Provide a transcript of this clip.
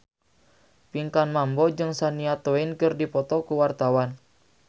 Pinkan Mambo jeung Shania Twain keur dipoto ku wartawan